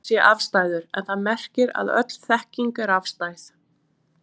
Þetta merkir ekki að sannleikurinn sé afstæður en það merkir að öll þekking er afstæð.